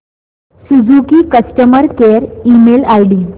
Suzuki customer care email ID